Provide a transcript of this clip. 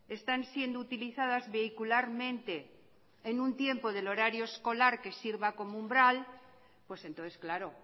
están siendo utilizadas vehicularmente en un tiempo del horario escolar que sirva como umbral pues entonces claro